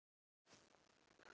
Aldrei meira en núna.